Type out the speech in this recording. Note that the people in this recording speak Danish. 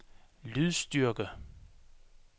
lydstyrke